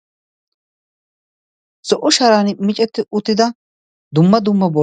zo'o sharan miccetti utida dumma dumma